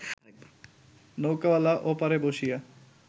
নৌকাওয়ালা ওপারে বসিয়া